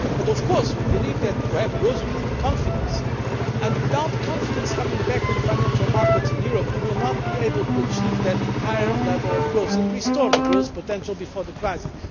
Of course, we believe that to have growth, we need confidence, and unless confidence comes back to the financial markets in Europe, we will not be able to achieve that higher level of growth and restore the growth potential before the crisis.